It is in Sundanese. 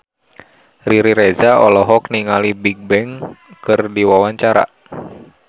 Riri Reza olohok ningali Bigbang keur diwawancara